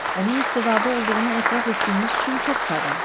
Onun istedadı olduğunu etiraf etdiyiniz üçün çox şadam.